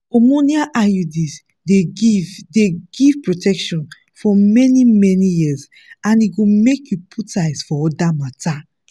hormonal iuds dey give dey give protection for many-many years and e go make you put eyes for other matters.